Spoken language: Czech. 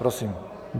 Prosím.